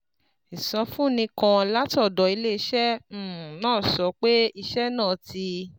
Ìsọfúnni kan látọ̀dọ̀ iléeṣẹ́ um náà sọ pé iṣẹ́ náà ti